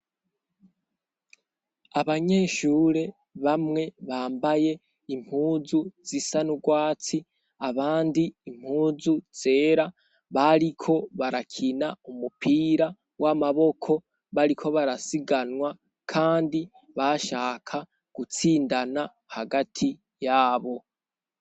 Abanyeshure bamwe bambaye impuzu zisa n'urwatsi abandi impuzu zera bariko barakina umupira w'amaboko bariko barasiganwa, kandi bashaka gutsindana hagati yabo.